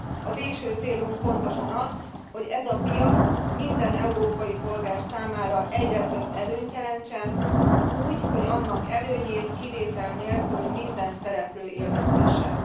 A végső célunk pontosan az, hogy ez a piac minden európai polgár számára egyre több előnyt jelentsen úgy, hogy annak előnyét kivétel nélkül minden szereplő élvezhesse.